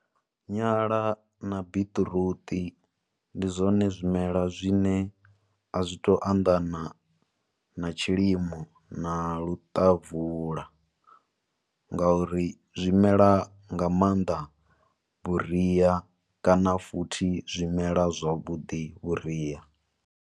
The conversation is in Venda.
Nyala na biṱiruṱi ndi zwone zwimela zwine a zwi to anḓana na tshilimo, na luṱavula nga uri zwimela nga maanḓa vhuria, kana futhi zwi mela zwavhudi vhuria.